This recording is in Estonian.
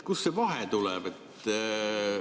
Kust see vahe tuleb?